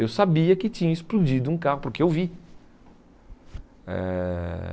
Eu sabia que tinha explodido um carro, porque eu vi. Eh